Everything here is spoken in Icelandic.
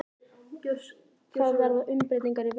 Það verða umbreytingar í veðrinu.